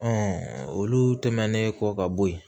olu tɛmɛnen kɔ ka bɔ yen